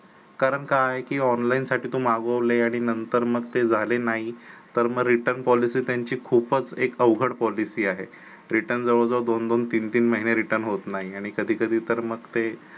कारण काय की online साठी तू मागवले आणि नंतर मग ते झाले नाही तर मग return policy त्यांची खूपच एक अवघड policy आहे return जवळ जवळ दोन दोन तीन महिने return होत नाही आणि कधी कधी तर मग ते